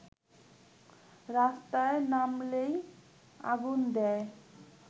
রাস্তায় নামলেই আগুন দেয়